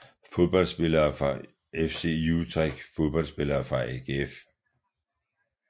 Fodboldspillere fra FC Utrecht Fodboldspillere fra AGF